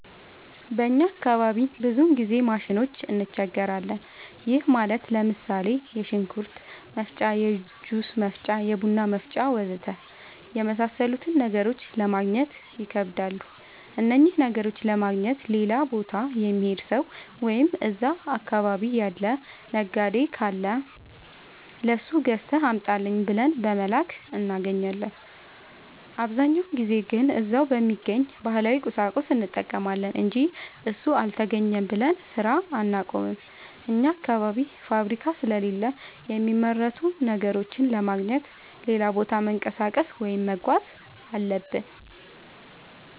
በእኛ አካባቢ ብዙ ጊዜ ማሽኖች እንቸገራለን። ይህም ማለት ለምሳሌ፦ የሽንኩርት መፍጫ፣ የጁስ መፍጫ፣ የቡና መፍጫ.... ወዘተ የመሣሠሉትን ነገሮች ለማገግኘት ይከብዳሉ። እነኝህን ነገሮች ለማግኘት ሌላ ቦታ የሚሄድ ሠው ወይም እዛ አካባቢ ያለ ነጋዴ ካለ ለሱ ገዝተህ አምጣልኝ ብለን በመላክ እናገኛለን። አብዛኛውን ጊዜ ግን እዛው በሚገኝ ባህላዊ ቁሳቁስ እንጠቀማለን አንጂ እሱ አልተገኘም ብለን ስራ አናቆምም። አኛ አካባቢ ፋብሪካ ስለሌለ የሚመረቱ ነገሮችን ለማግኘት ሌላ ቦታ መንቀሳቀስ ወይም መጓዝ አለብን።